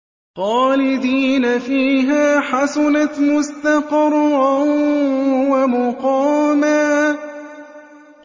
خَالِدِينَ فِيهَا ۚ حَسُنَتْ مُسْتَقَرًّا وَمُقَامًا